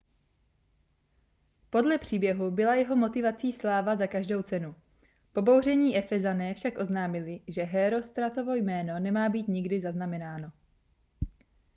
podle příběhu byla jeho motivací sláva za každou cenu pobouření efezané však oznámili že hérostratovo jméno nemá být nikdy zaznamenáno